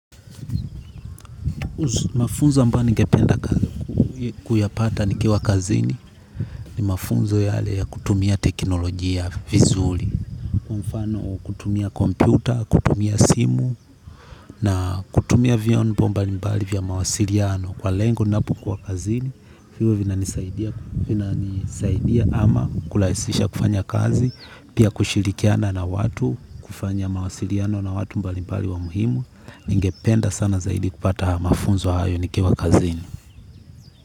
Mafunzo ambayo ningependa kuyapata nikiwa kazini ni mafunzo yale ya kutumia teknolojia vizuri, kwa mfano kutumia kompyuta, kutumia simu. Na kutumia vyombo mbalimbali vya mawasiliano kwa lengo la kazini, ambavyo vinanisaidia ama kurahisisha kufanya kazi. Pia kushirikiana na watu, kufanya mawasiliano na watu mbalimbali wa muhimu. Ningependa sana zaidi kupata mafunzo hayo nikiwa kazini.